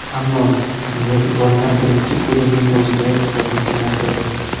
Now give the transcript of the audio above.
Ammo mezbonlar birinchi bo‘limning o‘zidayoq hisobni tenglashtirdi.